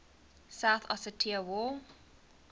south ossetia war